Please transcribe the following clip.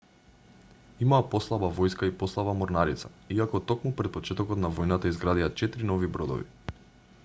имаа послаба војска и послаба морнарица иако токму пред почетокот на војната изградија 4 нови бродови